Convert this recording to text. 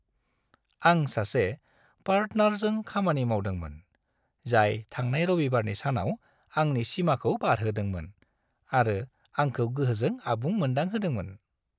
आं सासे पार्टनारजों खामानि मावदोंमोन, जाय थांनाय रबिबारनि सानाव आंनि सिमाखौ बारहोदोंमोन आरो आंखौ गोहोजों आबुं मोनदांहोदोंमोन।